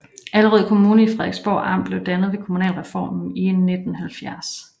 Allerød Kommune i Frederiksborg Amt blev dannet ved kommunalreformen i 1970